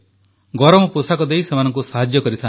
ଗରମ ପୋଷାକ ଦେଇ ସେମାନଙ୍କୁ ସାହାଯ୍ୟ କରନ୍ତି